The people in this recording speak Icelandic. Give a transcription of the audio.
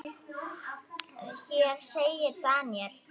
Hér segir Daniel